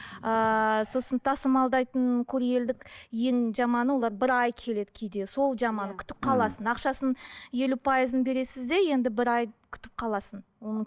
ыыы сосын тасымалдайтын курьерлік ең жаманы олар бір ай келеді кейде сол жаман күтіп қаласың ақшасын елу пайызын бересіз де енді бір ай күтіп қаласың оның